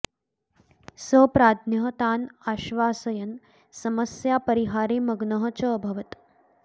स प्राज्ञः तान् आश्वासयन् समस्यापरिहारे मग्नः च अभवत्